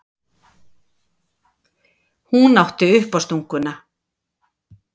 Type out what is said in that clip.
Hún átti uppástunguna.